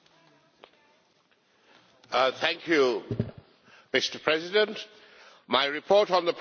Mr President, my report on the private sector in development breaks new ground.